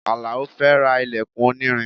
Alao fẹ́ ra ilẹkun onírin